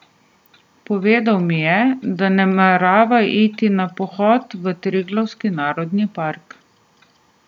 Povedal mi je, da namerava iti na pohod v Triglavski narodni park.